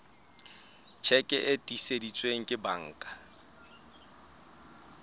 tjheke e tiiseditsweng ke banka